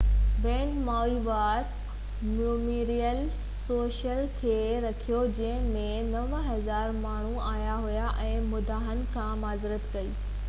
band Maui War Memorial Stadium ۾ show کي رد ڪيو جنهن ۾ 9000 ماڻهو آيا هئا ۽ مداحن کان معذرت ڪئي